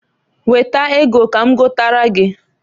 Weta ego ka m gotara gi.